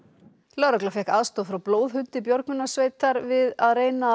lögregla fékk aðstoð frá björgunarsveitar við að reyna að